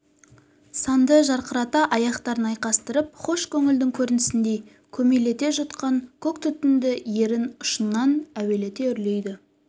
санды жарқырата аяқтарын айқастырып хош көңілдің көрінісіндей көмейлете жұтқан көк түтінді ерін ұшынан әуелете үрлейді